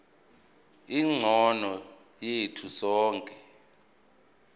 engcono yethu sonke